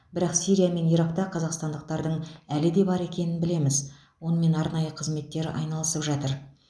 бірақ сирия мен иракта қазақстандықтардың әлі де бар екенін білеміз онымен арнайы қызметтер айналысып жатыр